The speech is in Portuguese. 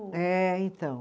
É, então.